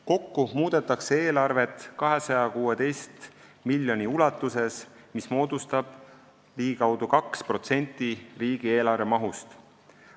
Kokku muudetakse eelarvet 216 miljoni ulatuses, mis moodustab ligikaudu 2% riigieelarve mahust.